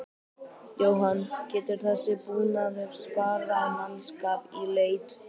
Jóhann: Getur þessi búnaður sparað mannskap í leit?